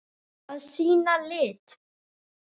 Að sýna lit.